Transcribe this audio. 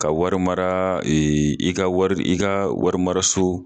Ka wari mara i ka wari i ka wari mara so